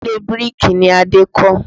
Ilé bíríkì ni Adé kọ́